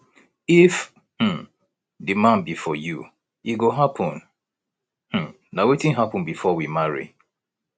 if um the man be for you e go happen um na wetin happen before we marry